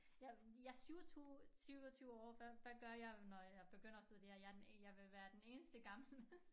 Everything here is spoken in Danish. Jeg er 27 27 år hvad hvad gør jeg når jeg begynder at studere jeg den ene jeg vil være den eneste gammel hvis